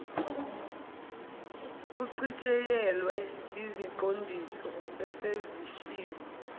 uchitshiyelwe iziqondiso esezishiwo